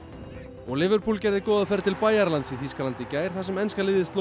og Liverpool gerði góða ferð til Bæjaralands í Þýskalandi í gær þar sem enska liðið sló